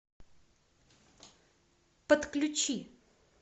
подключи